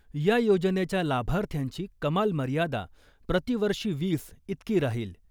या योजनेच्या लाभार्थ्यांची कमाल मर्यादा प्रतिवर्षी वीस इतकी राहील .